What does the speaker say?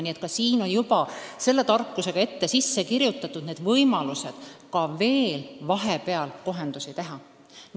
Nii et siia on juba targalt ette sisse kirjutatud võimalused vahepeal kohendusi teha.